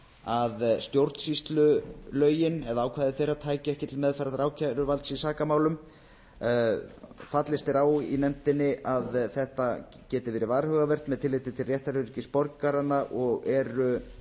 að ákvæði stjórnsýslulaga tækju ekki til meðferðar ákæruvalds í sakamálum fallist er á í nefndinni að þetta geti verið varhugavert með tilliti til réttaröryggis borgaranna og eru